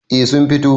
eh sun fito